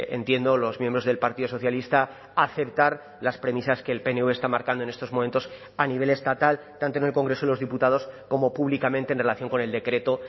entiendo los miembros del partido socialista aceptar las premisas que el pnv está marcando en estos momentos a nivel estatal tanto en el congreso de los diputados como públicamente en relación con el decreto